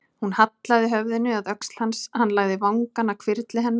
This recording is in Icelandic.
Hún hallaði höfðinu að öxl hans, hann lagði vangann að hvirfli hennar.